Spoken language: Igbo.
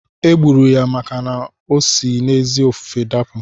E gburu ya maka na osi n'ezi ofufe dapụ.